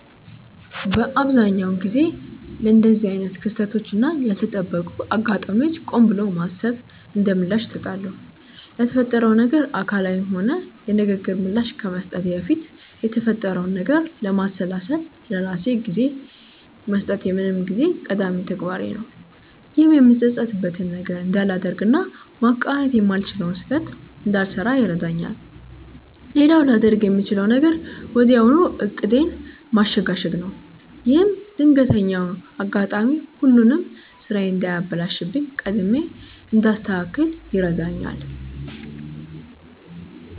በአብዛኛው ጊዜ ለእንደዚህ አይነት ክስተቶች እና ያልተጠበቁ አጋጣሚዎች ቆም ብሎ ማሰብን እንደምላሽ እሰጣለሁ። ለተፈጠረው ነገር አካላዊም ሆነ የንግግር ምላሽ ከመስጠቴ በፊት የተፈጠረውን ነገር ለማሰላሰል ለራሴ ጊዜ መስጠት የምንጊዜም ቀዳሚ ተግባሬ ነው። ይህም የምጸጸትበትን ነገር እንዳላደርግ እና ማቃናት የማልችለውን ስህተት እንዳልሰራ ይረዳኛል። ሌላው ላደርግ የምችለው ነገር ወዲያው ዕቅዴን ማሸጋሸግ ነው። ይህም ድንገተኛው አጋጣሚ ሁሉንም ስራዬን እንዳያበላሽብኝ ቀድሜ እንዳስተካክል ይረዳኛል።